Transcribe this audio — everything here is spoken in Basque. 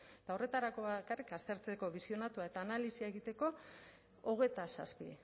eta horretarako bakarrik aztertzeko bisionatu eta analisia egiteko hogeita zazpi